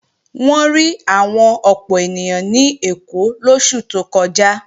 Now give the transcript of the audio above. Wọ́n rí àwọn ọ̀pọ̀ ènìyàn ní Èkó lóṣù tó kọjá